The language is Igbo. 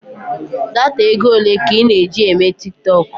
Data ego ole ka ị na-eji eme tiktọk?